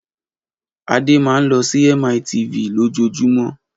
Adé máa ń lọ sí MITV lójoojúmọ́.